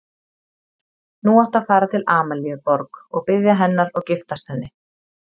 Nú áttu að fara til Amalíu Borg og biðja hennar og giftast henni.